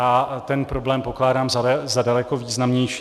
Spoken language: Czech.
A ten problém pokládám za daleko významnější.